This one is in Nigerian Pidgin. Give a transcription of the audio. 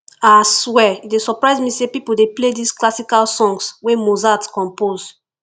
ah swear e dey surprise me sey people dey play dis classical songs wey mozart compose